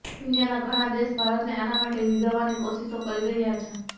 દુનિયાના ઘણાં દેશ ભારતને આના માટે રિઝવવાની કોશિશો કરી રહ્યા છે